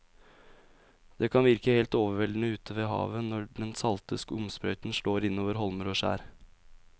Det kan virke helt overveldende ute ved havet når den salte skumsprøyten slår innover holmer og skjær.